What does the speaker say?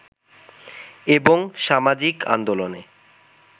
এবং সামাজিক আন্দোলনে